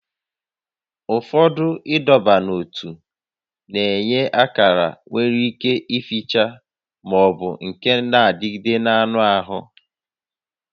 Ụfọdụ ịdọba n'ótú na-enye akara nwere ike ificha ma ọ bụ nke na-adịgide n'anụ ahụ